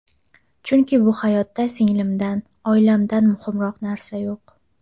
Chunki bu hayotda singlimdan, oilamdan muhimroq narsa yo‘q.